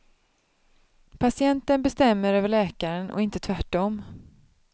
Patienten bestämmer över läkaren och inte tvärtom.